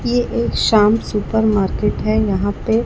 ये एक Shyam supermarket है यहां पे--